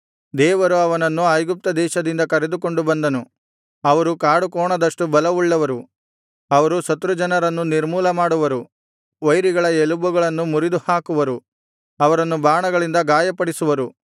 ದೇವರು ಅವನನ್ನು ಐಗುಪ್ತ ದೇಶದಿಂದ ಕರೆದುಕೊಂಡು ಬಂದನು ಅವರು ಕಾಡುಕೋಣದಷ್ಟು ಬಲವುಳ್ಳವರು ಅವರು ಶತ್ರುಜನರನ್ನು ನಿರ್ಮೂಲಮಾಡುವರು ವೈರಿಗಳ ಎಲುಬುಗಳನ್ನು ಮುರಿದುಹಾಕುವರು ಅವರನ್ನು ಬಾಣಗಳಿಂದ ಗಾಯಪಡಿಸುವರು